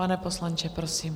Pane poslanče, prosím.